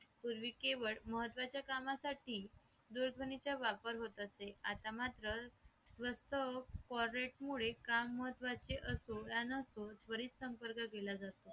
पूर्वी केवळ महत्त्वाच्या कामासाठी दूरध्वनीचा वापर होत असे आता मात्र वास्तव्य call rate मुळे का महत्वाचे असो वा नसो त्वरित संपर्क केला जातो